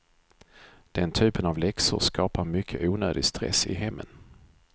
Den typen av läxor skapar mycket onödig stress i hemmen.